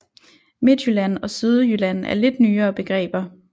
Midtjylland og Sydjylland er lidt nyere begreber